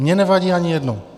Mě nevadí ani jedno.